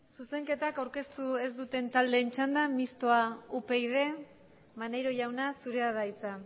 zuzenketak aurkeztu ez duten taldeen txanda mistoa upyd maneiro jauna zurea da hitza